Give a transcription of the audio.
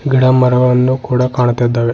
ಗಿಡ ಮರವನ್ನು ಕೂಡ ಕಾಣ್ತಾ ಇದ್ದಾವೆ.